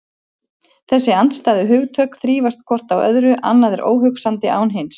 Þessi andstæðu hugtök þrífast hvort á öðru, annað er óhugsandi án hins.